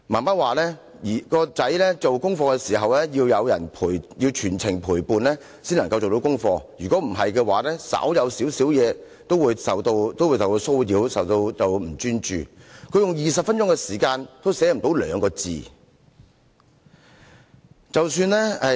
媽媽說兒子做功課時要有人全程陪伴，才能完成功課，否則稍有小小事情，都會受到騷擾，變得不專注 ，20 分鐘也寫不到兩個字。